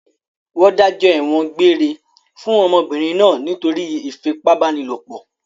Wọ́n dájọ́ ẹ̀wọ̀n egbére fún ọmọbìnrin náà nítorí ìfipábánilòpọ̀?